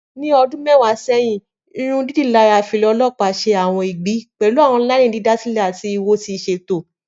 Ni ọdun mẹwa sẹhin, irundidalara fila ọlọpa ṣe awọn igbi, pẹlu awọn laini didasilẹ ati iwo ti iṣeto.